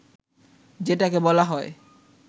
যেটাকে বলা হয়